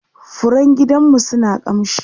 furen gidanmu suna kamshi